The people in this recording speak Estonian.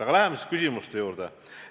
Aga läheme siis küsimuste juurde.